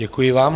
Děkuji vám.